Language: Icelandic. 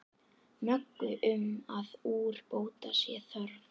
Möggu um að úrbóta sé þörf.